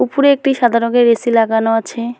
উফরে একটি সাদা রঙের এ_সি লাগানো আছে।